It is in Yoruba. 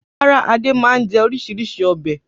Rárá, Adé máa ń jẹ oríṣiríṣi ọbẹ̀.